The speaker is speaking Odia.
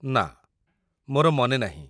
ନା, ମୋର ମନେନାହିଁ